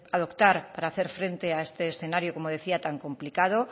adoptar para hacer frente a este escenario como decía tan complicado